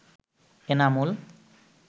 Enamul